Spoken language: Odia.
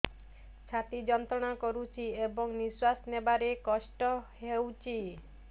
ଛାତି ଯନ୍ତ୍ରଣା କରୁଛି ଏବଂ ନିଶ୍ୱାସ ନେବାରେ କଷ୍ଟ ହେଉଛି